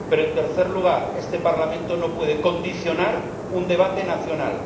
Pero, en tercer lugar, este Parlamento no puede condicionar un debate nacional.